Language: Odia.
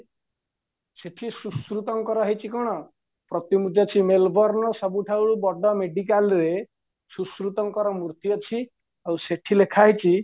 ସେଇଠି ସୁଶୃତଙ୍କର ହେଇଚି କ'ଣ ପ୍ରତି ଅଛି mail borne ସବୁଠାରୁ ବଡ medicalରେ ସୄଶୃତଙ୍କର ମୃତି ଅଛି ଆଉ ସେଠି ଲେଖାହେଇଛି